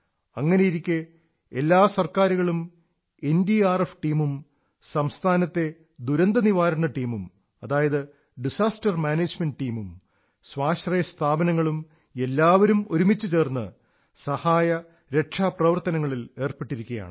അങ്ങനെയിരിക്കെ എല്ലാ സർക്കാരുകളും എൻഡിആർഎഫ് ടീമും സംസ്ഥാനത്തെ അപകട നിയന്ത്രണ ടീമും ഡിസാസ്റ്റർമാനേജ്മെന്റ് ടീം സ്വാശ്രയ സ്ഥാപനങ്ങളും എല്ലാവരും ഒരുമിച്ചുചേർന്ന് സഹായ രക്ഷാ പ്രവർത്തനങ്ങളിൽ ഏർപ്പെട്ടിരിക്കയാണ്